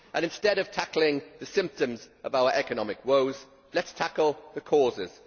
Instead of tackling the symptoms of our economic woes, let us tackle the causes.